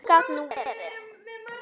Gat nú verið